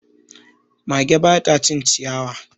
Mage ba ta cin ciyawa.